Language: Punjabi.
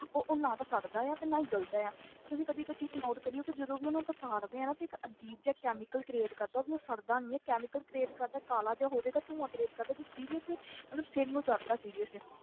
ਉਹ ਉਹ ਨਾ ਤਾਂ ਸੜਦਾ ਆ ਤੇ ਨਾ ਹੀ ਗਲਦਾ ਆ ਤੇ ਤੁਸੀਂ ਕਦੇ ਇੱਕ ਚੀਜ਼ note ਕਰਿਓ ਕਿ ਜਦੋਂ ਵੀ ਉਹਨੂੰ ਆਪਾਂ ਸਾੜਦੇ ਹਾਂ ਨਾ ਤੇ ਇੱਕ ਅਜ਼ੀਬ ਜਿਹਾ chemical create ਕਰਦਾ ਉਹ ਵੀ ਉਹ ਸੜਦਾ ਨੀ ਹੈ chemical create ਕਰਦਾ ਕਾਲਾ ਜਿਹਾ ਹੋ ਜਾਏਗਾ ਧੂੰਆ create ਕਰਦਾ ਤੇ seriously ਮਤਲਬ ਸਿਰ ਨੂੰ ਚੜ੍ਹਦਾ seriously